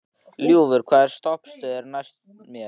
Ljúfur, hvaða stoppistöð er næst mér?